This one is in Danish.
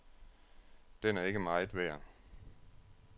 Den er ikke meget værd.